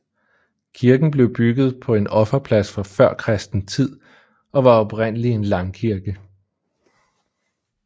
Kirken blev bygget på en offerplads fra førkristen tid og var oprindelig en langkirke